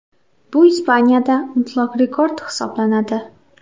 Bu Ispaniyada mutlaq rekord hisoblanadi.